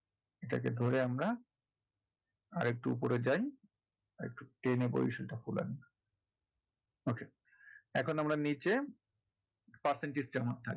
যেটা কে ধরে আমরা আরেকটু ওপরে যাই আরেকটু টেনে বড়িসাল টা খোলান। okay এখন আমরা নীচে percentage জমা থাকবে।